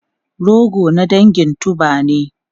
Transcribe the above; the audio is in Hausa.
Rogo na dangin tuber ne.